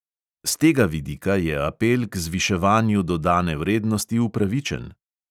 S tega vidika je apel k zviševanju dodane vrednosti upravičen.